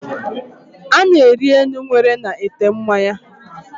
Ana-eri enu nwere na-ete mmanya